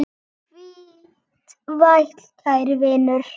Hvíl vært, kæri vinur.